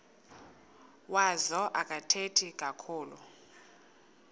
wazo akathethi kakhulu